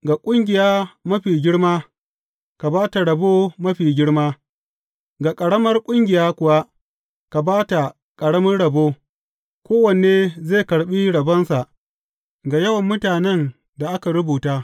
Ga ƙungiya mafi girma, ka ba ta rabo mafi girma; ga ƙaramar ƙungiya kuwa, ka ba ta ƙarami rabo; kowane zai karɓa rabonsa ga yawan mutanen da aka rubuta.